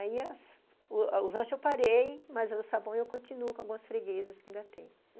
Aí, as... os lanches eu parei, mas o sabão eu continuo com algumas freguesas que ainda tem.